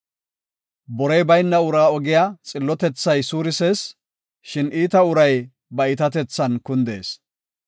Borey bayna uraa ogiya xillotethay suurisees; shin iita uray ba iitatethan kundees.